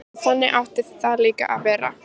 Og þannig átti það líka að vera.